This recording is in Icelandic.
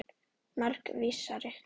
Margs vísari.